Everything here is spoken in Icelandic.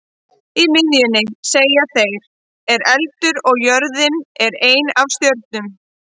Í miðjunni, segja þeir, er eldur og jörðin er ein af stjörnunum.